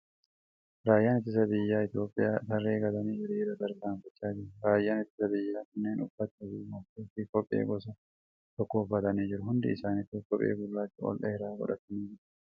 Raayyaan ittisa biyyaa Itiyoophiyaa tarree galanii hiriiraan tarkaanfachaa jiru. Raayyaan ittisa biyyaa kunnen uffata , gonfoo fi kophee gosa tokko uffatanii jiru. Hundi isaanituu kophee gurraacha ol dheeraa godhatanii jiru.